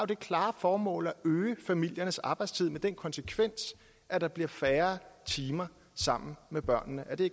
det klare formål at øge familiernes arbejdstid med den konsekvens at der bliver færre timer sammen med børnene er det